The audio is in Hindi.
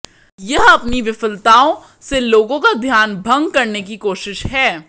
यह अपनी विफलताओं से लोगों का ध्यान भंग करने की कोशिश है